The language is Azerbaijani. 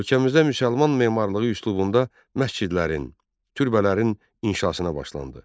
Ölkəmizdə müsəlman memarlığı üslubunda məscidlərin, türbələrin inşasına başlandı.